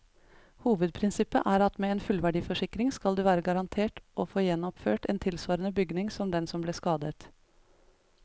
Hovedprinsippet er at med en fullverdiforsikring skal du være garantert å få gjenoppført en tilsvarende bygning som den som ble skadet.